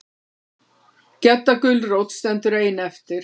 Gedda gulrót stendur ein eftir.